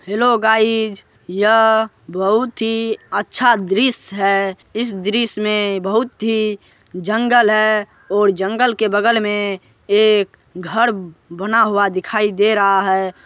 Hello guys यह बहुत ही अच्छा दृश है। इस दृश् में बहुत ही जंगल है और जंगल के बगल में एक घर बना हुआ दिखाई दे रहा है।